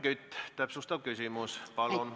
Helmen Kütt, täpsustav küsimus, palun!